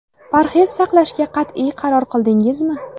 Parhez saqlashga qat’iy qaror qildingizmi?